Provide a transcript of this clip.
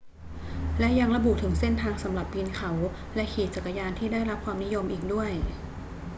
และยังระบุถึงเส้นทางสำหรับปีนเขาและขี่จักรยานที่ได้รับความนิยมอีกด้วย